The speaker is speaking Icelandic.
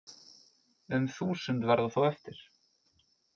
Um þúsund verða þó eftir